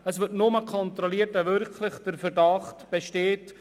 Es wird nur kontrolliert, wenn wirklich ein Verdacht besteht.